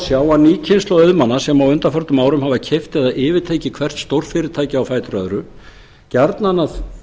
sjá að ný kynslóð auðmanna sem á undanförnum árum hefur keypt eða yfirtekið hvert stórfyrirtækið af öðru gjarnan